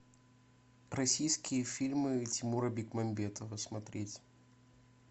российские фильмы тимура бекмамбетова смотреть